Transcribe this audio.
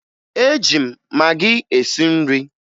Eji m magị esi nri